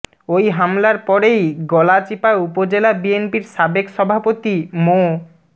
ওই হামলার পরেই গলাচিপা উপজেলা বিএনপির সাবেক সভাপতি মো